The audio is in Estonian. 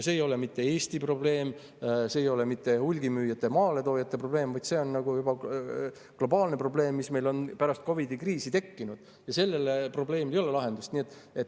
See ei ole mitte Eesti probleem, see ei ole mitte hulgimüüjate ja maaletoojate probleem, vaid see on globaalne probleem, mis on pärast COVID‑i kriisi tekkinud, ja sellele probleemile ei ole lahendust.